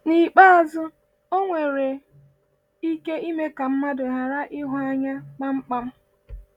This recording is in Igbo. N’ikpeazụ, ọ nwere ike ime ka mmadụ ghara ịhụ anya kpamkpam.